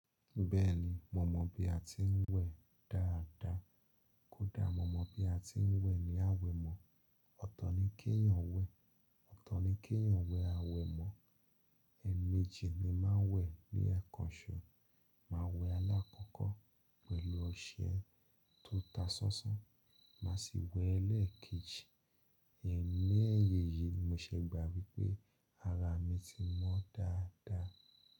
Bẹ́ẹ̀ni, mo mọ̀ bí a ti ń wẹ̀ dáadáa. Kódà mo mọ̀ bí a ti ń wẹ̀ ní àwẹ̀ mọ́. Ọ̀tọ̀ ni kí èèyàn wẹ̀, ọ̀tọ̀ ni kí èèyàn wẹ̀ àwẹ̀ mọ́. Ẹ̀ẹ̀mejì ni máa ń wẹ̀ ní ẹ̀ẹ̀kanṣo. Máa wẹ̀ alákọ́kọ́ pẹ̀lú ọṣẹ tó ta sánsán, má sì wẹ̀ lẹ́ẹ̀keji. Ẹ̀ní ẹyeyii ni mo ṣe gbà wípé ara mi ti mọ́ dáadáa.